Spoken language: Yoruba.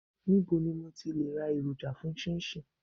Níbo ni mo ti le ra èròjà fún 'chinchin'?